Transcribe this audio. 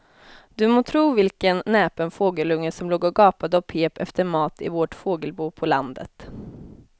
Du må tro vilken näpen fågelunge som låg och gapade och pep efter mat i vårt fågelbo på landet.